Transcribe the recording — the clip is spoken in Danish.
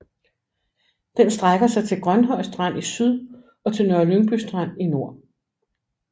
Den strækker sig til Grønhøj Strand i syd og til Nørre Lyngby Strand i nord